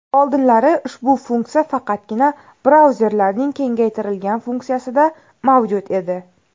Oldinlari ushbu funksiya faqatgina brauzerlarning kengaytirilgan funksiyasida mavjud edi.